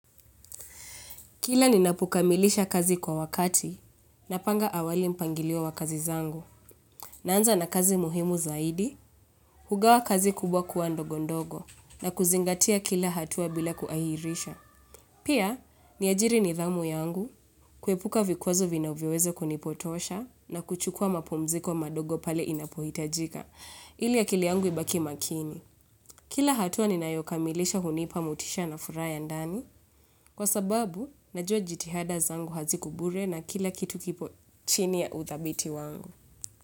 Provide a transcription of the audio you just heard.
Kila ninapokamilisha kazi kwa wakati, napanga awali mpangilio wa kazi zangu, naanza na kazi muhimu zaidi, hugawa kazi kubwa kuwa ndogondogo, na kuzingatia kila hatua bila kuahirisha. Pia, niajiri nidhamu yangu, kuepuka vikwazo vinavyoweza kunipotosha, na kuchukua mapumziko madogo pale inapohitajika, ili akili yangu ibaki makini. Kila hatua ninayokamilisha hunipa motisha na furaha ya ndani kwa sababu najua jitihada zangu haziko bure na kila kitu kipo chini ya uthabiti wangu.